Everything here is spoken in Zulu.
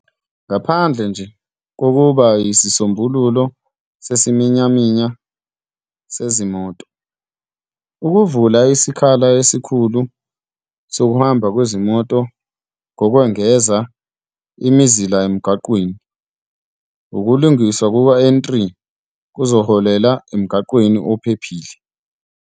"Ngaphandle nje kokuba yisisombululo sesiminyaminya sezimoto, ukuvula isikhala esikhulu sokuhamba kwezimoto ngokwengeza imizila emgwaqeni, ukulungiswa kuka-N3 kuzoholela emgwaqeni ophephile."